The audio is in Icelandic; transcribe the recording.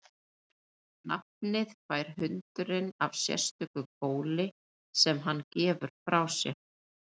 Nafnið fær hundurinn af sérstöku góli sem hann gefur frá sér.